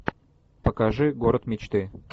покажи город мечты